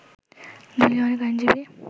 দলীয় অনেক আইনজীবী